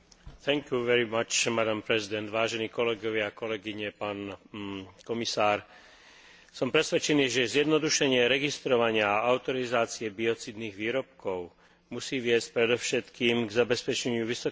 Som presvedčený, že zjednodušenie registrovania a autorizácie biocídnych výrobkov musí viesť predovšetkým k zabezpečeniu vysokej úrovne ochrany zdravia ľudí a životného prostredia, v ktorom žijú.